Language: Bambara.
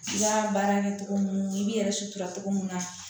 I ka baara kɛ cogo mun i b'i yɛrɛ sutura togo mun na